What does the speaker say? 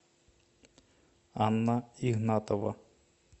анна игнатова